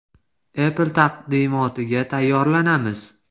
Apple taqdimotiga tayyorlanamiz.